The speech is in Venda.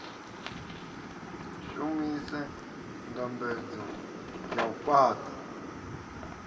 shumise ndambedzo ya u fhaṱa